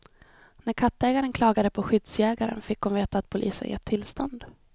När kattägaren klagade på skyddsjägaren fick hon veta att polisen gett tillstånd.